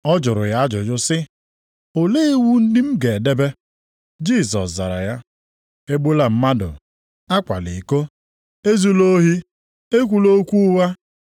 Ọ jụrụ ya ajụjụ sị, “Olee iwu ndị m ga-edebe?” Jisọs zara ya, “ ‘Egbula mmadụ, akwala iko, ezula ohi, ekwula okwu ụgha.